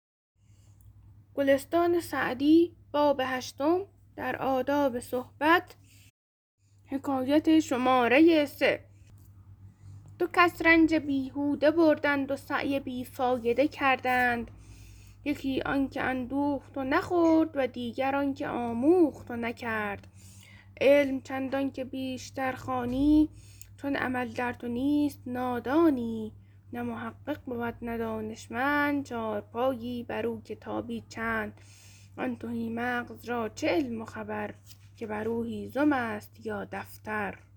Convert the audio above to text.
دو کس رنج بیهوده بردند و سعی بی فایده کردند یکی آن که اندوخت و نخورد و دیگر آن که آموخت و نکرد علم چندان که بیشتر خوانی چون عمل در تو نیست نادانی نه محقق بود نه دانشمند چارپایی بر او کتابی چند آن تهی مغز را چه علم و خبر که بر او هیزم است یا دفتر